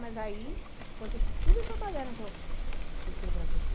Mas aí, aconteceu toda essa baderna que eu citei para você.